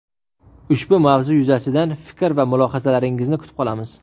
Ushbu mavzu yuzasidan fikr va mulohazalaringizni kutib qolamiz.